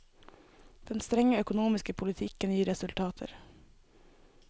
Den strenge økonomiske politikken gir resultater.